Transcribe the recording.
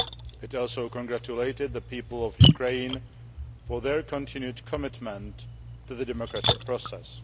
It also congratulated the people of Ukraine for their continued commitment to the democratic process.